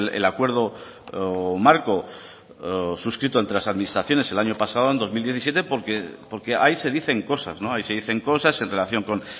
el acuerdo marco suscrito entre las administraciones el año pasado en dos mil diecisiete porque ahí se dicen cosas se dicen cosas en relación con